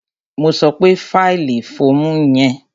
Mo sọ pé fílì fọ́ọ̀mù yẹn!